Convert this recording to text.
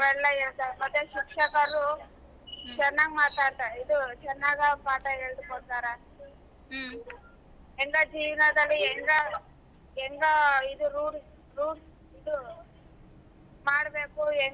ಅವೆಲ್ಲ ಹೇಳ್ತಾರೆ ಮತ್ತೆ ಶಿಕ್ಷಕರು ಚೆನ್ನಾಗ ಮಾತಾಡ್ತಾರೆ ಇದು ಚೆನ್ನಾಗ ಪಾಠ ಹೇಳಕೊಡತರ ಯಂಗ ಜೀವನದಲ್ಲಿ ಹ್ಯಾಂಗ್ ಹ್ಯಾಂಗ್ ಇದು rules ಮಾಡ್ಬೇಕು ಯಂಗ.